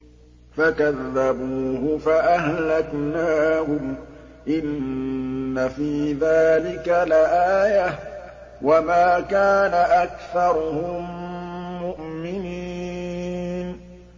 فَكَذَّبُوهُ فَأَهْلَكْنَاهُمْ ۗ إِنَّ فِي ذَٰلِكَ لَآيَةً ۖ وَمَا كَانَ أَكْثَرُهُم مُّؤْمِنِينَ